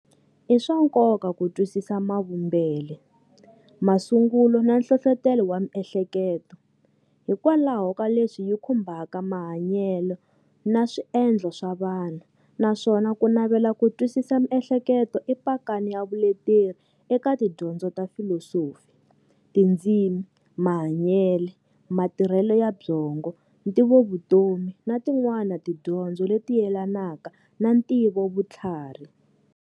I swa nkoka ku twisisa mavumbele, masungulo na nhlohlotelo wa miehleketo, hikwalaho ka leswi yi khumbaka mahanyele na swiendlo swa vanhu, nswona kunavela ku twisisa miehleketo i pakani ya vuleteri eka tidyondzo ta filosofi, tindzimi, mahanyele, matirhele ya byongo, ntivovutomi na tin'wana tidyondzo leti yelanaka na ntivovuthlarhi.